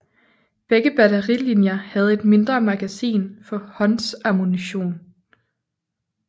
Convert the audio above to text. Begge batterilinier havde et mindre magasin for håndsammunition